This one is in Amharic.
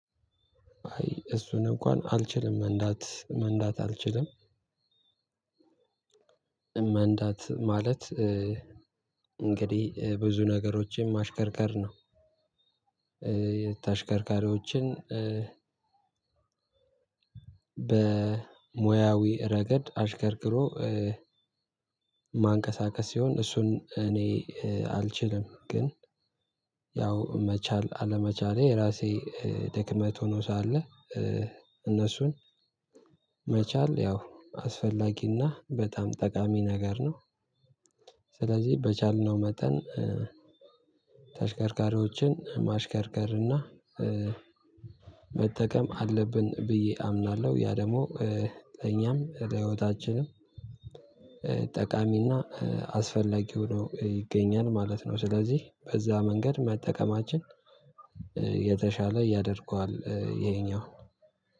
አይ እሱን እንኳን አልችልም መንዳት መንዳት አልችልም መንዳት ማለት እንግዲህ ብዙ ነገሮችን ማሽከርከር ነው። ተሽከርካሪዎችን በሞያዊ ረገድ አሽከርክሮ ማንቀሳቀስ ሲሆን እሱን እኔ አልችልም። ግን ያው መቻል አለመቻሌ ራሴ ድክመት ሆኖ ሳለ እነሱን መቻል ያው አስፈላጊና በጣም ጠቃሚ ነገር ነው። ስለዚህ በቻልነው መጠን ተሽከርካሪዎችን ማሽከርከርና መጠቀም አለብን ብዬ አምናለሁ ያ ደግሞ ለኛም ለህይወታችንም ጠቃሚና አስፈላጊው ነው ይገኛል ማለት ነው። ስለዚህ በዛ መንገድ መጠቀማችን የተሻለ ያደርገዋል ይሄኛው።